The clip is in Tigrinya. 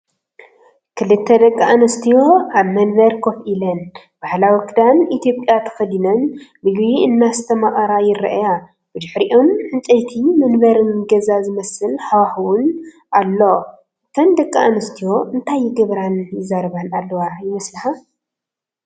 ክልተ ደቂ ኣንስትዮ ኣብ መንበር ኮፍ ኢለን፡ ባህላዊ ክዳን ኢትዮጵያ ተኸዲነን፡ ምግቢ እናስተማቐራ ይርኣያ። ብድሕሪኦም ዕንጨይቲ መንበርን ገዛ ዝመስል ሃዋህውን ኣሎ። እተን ደቂ ኣንስትዮ እንታይ ይገብራን ይዛረባን ኣለዋ ይመስለካ?